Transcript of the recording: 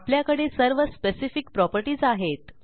आपल्याकडे सर्व specific properties आहेत